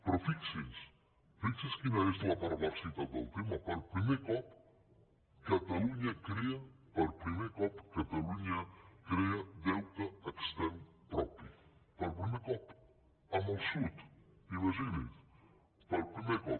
però fixin se fi xin se quina és la perversitat del tema per primer cop catalunya crea per primer cop catalunya crea deute extern propi per primer cop amb el sud imagini’s per primer cop